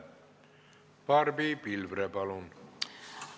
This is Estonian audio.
Barbi Pilvre, palun!